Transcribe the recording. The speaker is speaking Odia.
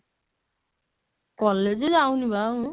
college ଯାଉନି ବା ଆଉ